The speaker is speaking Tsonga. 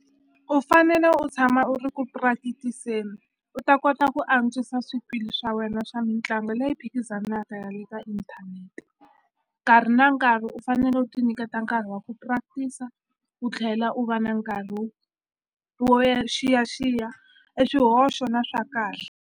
U fanele u tshama u ri ku practice-eni u ta kota ku antswisa swikili swa wena swa mitlangu leyi phikizanaka ya le ka inthanete nkarhi na nkarhi u fanele u ti nyiketa nkarhi wa ku practice u tlhela u va na nkarhi wo ya xiyaxiya e swihoxo na swa kahle.